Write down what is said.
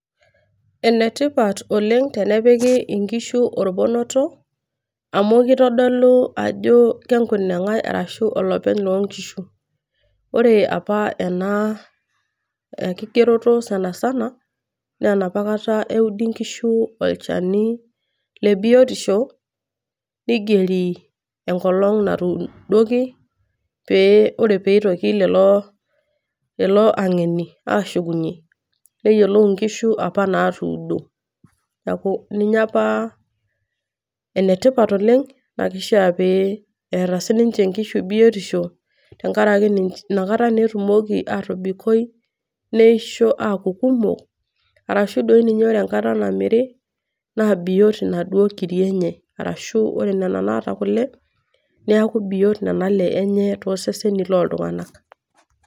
Ene tipat oleng' tenepiki inkishu olponoto, keitodolu ajo ine kunengai ashu olopeny loo nkishu. Ore opa ena kigeroto sanisana naa inoopa kata eudi inkishu olchanie biotisho, neigeri enkolong' natuudiki, pee ore pee eitoki lelo ang'eni pee eshukunye, neyioulou inkishu opa natuudo. Neaku ninye opa ene tipat oleng' ashu ake pee eata inkishu biotisho tenkarake Ina kata naa etumoki atobikoi neisho aaku kumok , ashu doi ninye ore enkata namiri naa biot naduo kiri enye, ashu ore Nena naata kule, neaku biot Nenae enye toseseni loltung'ana.